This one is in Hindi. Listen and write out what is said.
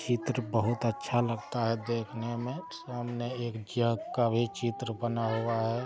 यह चित्र बोहोत अच्छा लगता है देखने मे सामने एक जग का भी चित्र बना हुआ है।